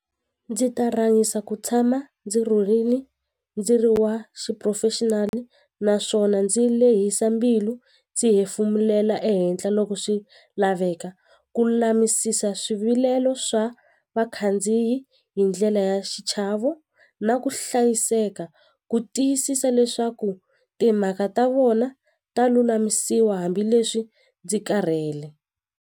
Ndzi ta rhangisa ku tshama ndzi rhurini ndzi ri wa xiphurofexinali naswona ndzi lehisa mbilu ndzi hefemulela ehenhla loko swi laveka ku lulamisisa swivilelo swa vakhandziyi hi ndlela ya xichavo na ku hlayiseka ku tiyisisa leswaku timhaka ta vona ta lulamisiwa hambileswi ndzi karhele.